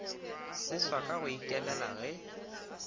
seswa ka go ikemela ge